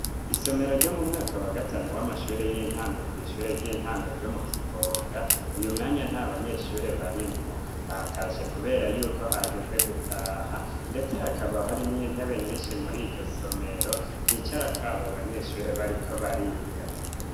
isomero ryo mu mwaka wa gatanu w'amashure y'intango kw' ishure ry'intango ryo mu kivoga, uyu mwanya nta banyeshure barimwo batashe kubera yuko hageze gutaha ndetse hakaba hari mwo intebe nyinshi muri iryo somero zicara kwabo banyeshure bariko bariga.